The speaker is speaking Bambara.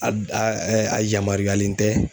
a yamaruyalen tɛ